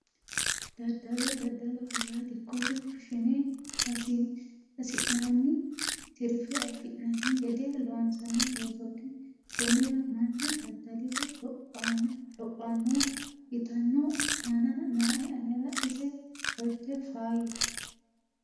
dadalo dadaloho yaa dikkote fushshine hasi'noonni tirfe afi'nanni gede loonsanni loosootti konnira mannu dada'liro lophanno yitanno ammana nooe anera ise qolte faayyate